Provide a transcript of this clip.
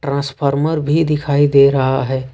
Transformer भी दिखाई दे रहा है।